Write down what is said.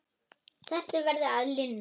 Þessu verður að linna.